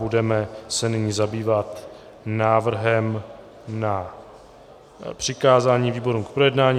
Budeme se nyní zabývat návrhem na přikázání výborům k projednání.